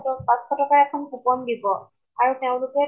ত পাচঁশ, পাচঁশ টকা এখন coupon দিব । আৰু তেওঁলোকে